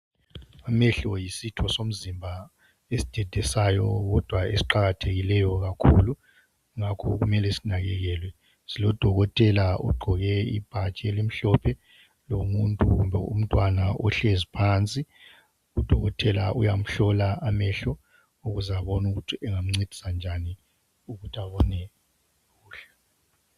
Amehlo yisitho somzimba esidedesayo kodwa esiqakathekileyo kakhulu ngakho kumele sinakekelwe, silo dokotela ogqoke ibhatshi elimhlophe, lomuntu kumbe umntwana ohlezi phansi. Udokotela uyamhlola amehlo ukuze abone ukuthi engamncedisa njani ukuthi abone kuhle.